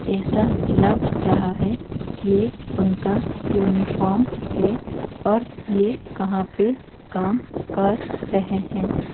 ऐसा लग रहा है कि ये उनका यूनिफॉर्म है और ये कहां पे काम कर रहे हैं।